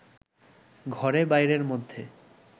ঘরে-বাইরের মধ্যে